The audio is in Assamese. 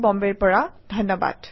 যোগদানৰ বাবে ধন্যবাদ